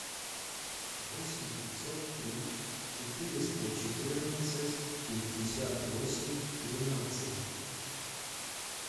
восемь пятьсот три четыреста четырнадцать пятьдесят восемь тринадцать